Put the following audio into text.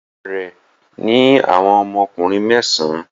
Ìyá rẹ̀ ní àwọn ọmọkùnrin mẹ́sàn-án.